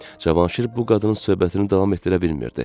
Cavanşir bu qadının söhbətini davam etdirə bilmirdi.